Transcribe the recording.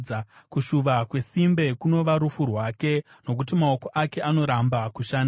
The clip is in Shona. Kushuva kwesimbe kunova rufu rwake, nokuti maoko ake anoramba kushanda.